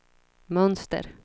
mönster